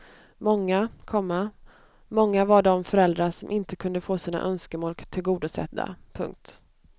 Många, komma många var de föräldrar som inte kunde få sina önskemål tillgodosedda. punkt